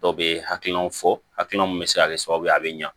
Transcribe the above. Dɔw bɛ hakilinaw fɔ hakilina min bɛ se ka kɛ sababu ye a bɛ ɲa